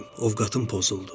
Ovqatım pozuldu.